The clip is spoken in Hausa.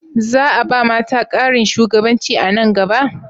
Za a ba mata ƙarin shugabanci a nan gaba?